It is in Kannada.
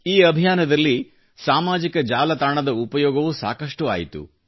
ಈ ಅಭಿಯಾನದಲ್ಲಿ ಸಾಮಾಜಿಕ ಜಾಲತಾಣದ ಉಪಯೋಗವೂ ಸಾಕಷ್ಟು ಆಯಿತು